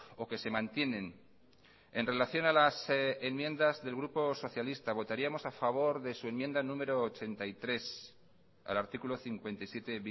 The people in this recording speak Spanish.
o que se mantienen en relación a las enmiendas del grupo socialista votaríamos a favor de su enmienda número ochenta y tres al artículo cincuenta y siete